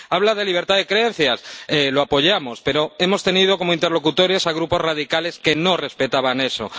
Habla de libertad de creencias lo apoyamos, pero hemos tenido como interlocutores a grupos radicales que no respetaban eso.